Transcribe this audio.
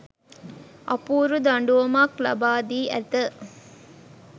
අපූරු දඬුවමක් ලබාදී ඇත